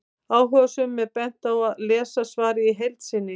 Áhugasömum er bent á að lesa svarið í heild sinni.